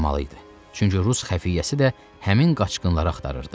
Çünki rus xəfiyyəsi də həmin qaçqınları axtarırdı.